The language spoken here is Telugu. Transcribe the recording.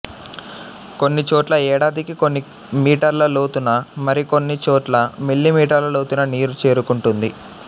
కొన్ని చోట్ల ఏడాదికి కొన్ని మీటర్ల లోతున మరికొన్ని చోట్ల మిల్లీ మీటర్ల లోతున నీరు చేరుకుంటుంది